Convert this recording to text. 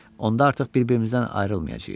Onda artıq bir-birimizdən ayrılmayacağıq.